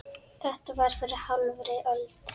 Þetta var fyrir hálfri öld.